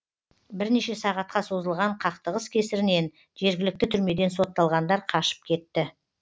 бірнеше сағатқа созылған қақтығыс кесірінен жергілікті түрмеден сотталғандар қашып кетті